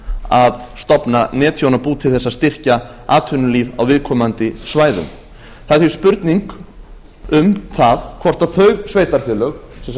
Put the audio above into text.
að stofna netþjónabú til að styrkja atvinnulíf á viðkomandi svæðum það er því spurning um það hvort þau sveitarfélög